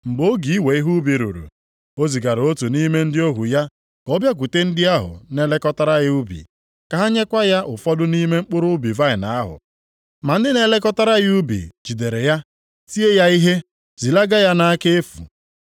Mgbe oge iwe ihe ubi ruru, o zigara otu nʼime ndị ohu ya ka ọ bịakwute ndị ahụ na-elekọtara ya ubi, ka ha nyekwa ya ụfọdụ nʼime mkpụrụ ubi vaịnị ahụ. Ma ndị na-elekọtara ya ubi jidere ya, tie ya ihe, zilaga ya nʼaka efu.